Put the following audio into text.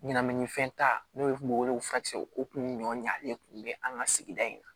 Ɲɛnaminifɛn ta n'o kun bɛ wele ko furakisɛw kun ɲɔn ɲalen kun bɛ an ka sigida in na